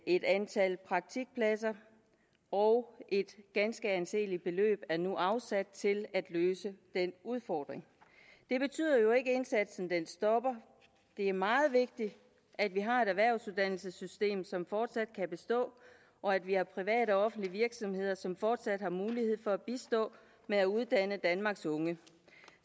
et antal praktikpladser og et ganske anseeligt beløb er nu afsat til at løse den udfordring det betyder jo ikke at indsatsen stopper det er meget vigtigt at vi har et erhvervsuddannelsessystem som fortsat kan bestå og at vi har private og offentlige virksomheder som fortsat har mulighed for at bistå med at uddanne danmarks unge